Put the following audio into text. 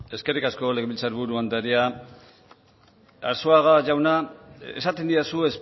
eskerrik asko legebiltzar buru andrea arzuaga jauna esaten didazu